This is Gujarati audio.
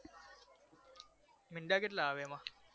મીંડા કેટલા આવે એમાં